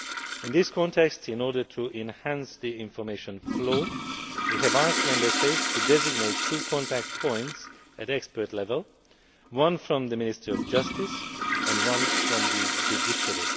In this context, and in order to enhance the information flow, we have asked Member States to designate two contact points at expert level, one from the Ministry of Justice and one from the judiciary.